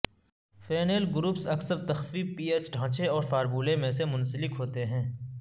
phenyl groups اکثر تخفیف P H ڈھانچے اور فارمولہ میں سے منسلک ہوتے ہیں